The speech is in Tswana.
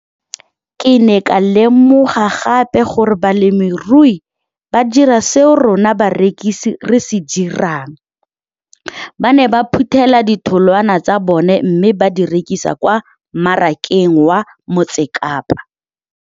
Ke ne ka lemoga gape gore balemirui ba dira seo rona barekisi re se dirang, ba ne ba phuthela ditholwana tsa bona mme ba di rekisa kwa marakeng wa Motsekapa.